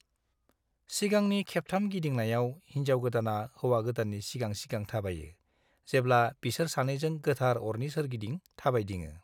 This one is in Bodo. सिगांनि खेबथाम गिदिंनायाव, हिन्जाव-गोदाना हौवा-गोदाननि सिगां सिगां थाबायो, जेब्ला बिसोर सानैजों गोथार अरनि सोरगिदिं थाबायदिङो।